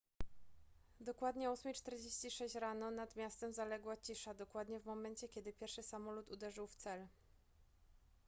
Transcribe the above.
dokładnie o 8:46 rano nad miastem zaległa cisza dokładnie w momencie kiedy pierwszy samolot uderzył w cel